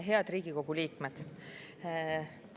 Head Riigikogu liikmed!